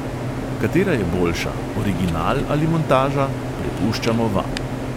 Katera je boljša, original ali montaža, prepuščamo vam.